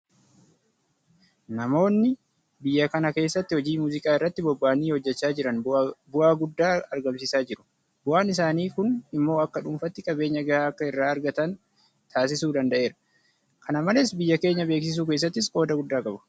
Namoonni biyya kana keessatti hojii muuziqaa irratti bobba'anii hojjechaa jiran bu'aa guddaa argamsiisaa jiru. Bu'aan isaanii kun immoo akka dhuunfaatti qabeenya gahaa akka irraa argata taasisuu danda'eera. Kana malees biyya keenya beeksisuu keessattis qooda guddaa qaba.